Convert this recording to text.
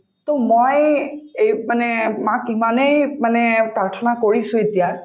to মই এই মানে মাক ইমানেই মানে প্ৰাৰ্থনা কৰিছো এতিয়া